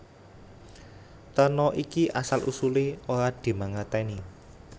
Terna iki asal usulé ora dimangerteni